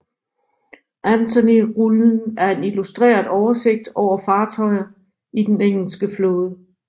Anthonyrullen er en illustreret oversigt over fartøjer i den engelske flåde